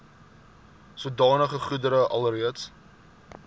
sodanige goedere alreeds